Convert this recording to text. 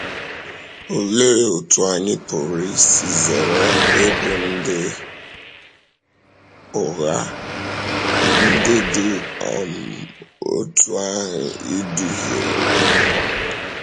Òlee otú anyị pụrụ isi zere ịbụ ndị ụgha ndị dị um otú ahụ ịdùhìere?